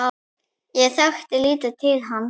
Ég þekkti lítið til hans.